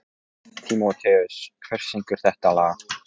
Tímoteus, hver syngur þetta lag?